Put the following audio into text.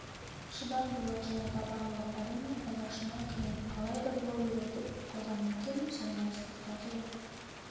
шыдамдылық және табандылық әрине алғашында қиын алайда бой үйретіп алғаннан кейін сенің ол спортқа деген